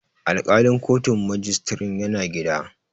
Alƙalin kotun majistirin yana gida.